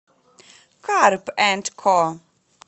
карп энд ко